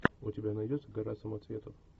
у тебя найдется гора самоцветов